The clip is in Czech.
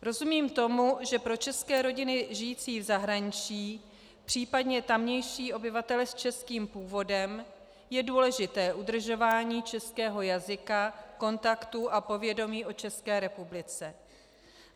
Rozumím tomu, že pro české rodiny žijící v zahraničí, případně tamější obyvatele s českým původem, je důležité udržování českého jazyka, kontaktů a povědomí o České republice.